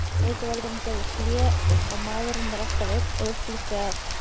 Bókavörðurinn gerði hlé á Maðurinn er alltaf einn og upplýsti að